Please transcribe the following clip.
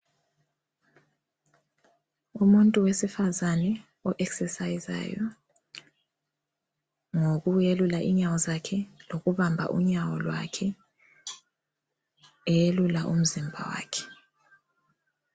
Umuntu wesifazana o-exercisayizayo ngokwelula inyawo zakhe lokubamba unyawo lwakhe, eyelula umzimba wakhe